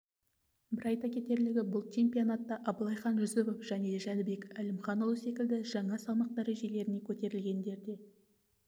бір айта кетерлігі бұл чемпионатта абылайхан жүсіпов және жәнібек әлімханұлы секілді жаңа салмақ дәрежелеріне көтерілгендер де